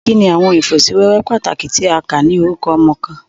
Kini awọn ifosiwewe pataki ti a kà ni orukọ ọmọ kan?